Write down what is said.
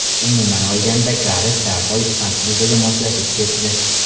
Umuman olganda, Garet darhol ispan klubiga moslashib ketdi.